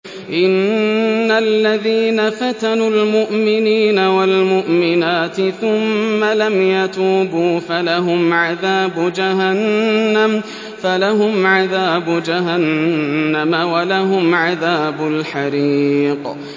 إِنَّ الَّذِينَ فَتَنُوا الْمُؤْمِنِينَ وَالْمُؤْمِنَاتِ ثُمَّ لَمْ يَتُوبُوا فَلَهُمْ عَذَابُ جَهَنَّمَ وَلَهُمْ عَذَابُ الْحَرِيقِ